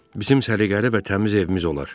Bizim səliqəli və təmiz evimiz olar.